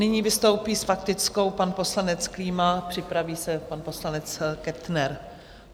Nyní vystoupí s faktickou pan poslanec Klíma, připraví se pan poslanec Kettner.